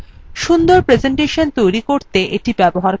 সুন্দর প্রেসেন্টেশন তৈরী করতে এটি ব্যবহার করা হয়